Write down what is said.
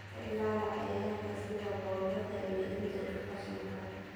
Ka ilaali cayayaanka sida boodada iyo injirta qashinka.